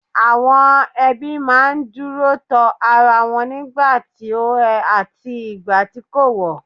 Àwọn ẹbí ma n duro to ara wọn nigba ti ó en àti ìgbà tí kò wọ̀